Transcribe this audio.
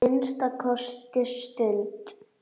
Að minnsta kosti um stund.